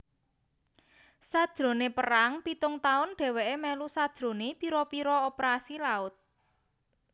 Sajrone Perang pitung tahun deweke melu sajrone pira pira operasi laut